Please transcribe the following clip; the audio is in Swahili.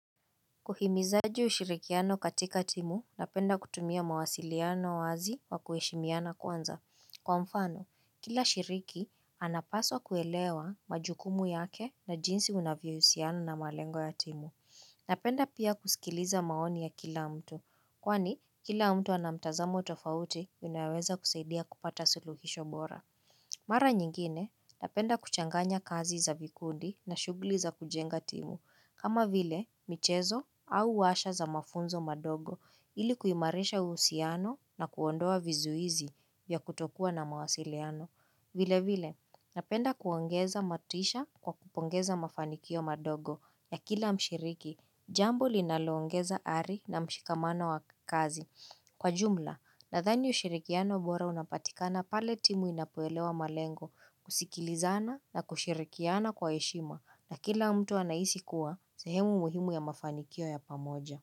Uhimizaji ushirikiano katika timu, napenda kutumia mawasiliano wazi wa kuheshimiana kwanza. Kwa mfano, kila shiriki anapaswa kuelewa majukumu yake na jinsi wanavyo husiano na malengo ya timu. Napenda pia kusikiliza maoni ya kila mtu. Kwani, kila mtu ana mtazamo tofauti inaweza kusaidia kupata suluhisho bora. Mara nyingine, napenda kuchanganya kazi za vikundi na shughuli za kujenga timu. Kama vile, michezo au washa za mafunzo madogo ili kuimarisha uhusiano na kuondoa vizuizi ya kutokua na mawasiliano. Vile vile, napenda kuongeza motisha kwa kupongeza mafanikio madogo ya kila mshiriki. Jambo linalo ongeza ari na mshikamano wa kazi. Kwa jumla, nadhani ushirikiano mbora unapatikana pale timu inapo elewa malengo kusikilizana na kushirikiana kwa heshima na kila mtu anahisi kuwa, sehemu muhimu ya mafanikio ya pamoja.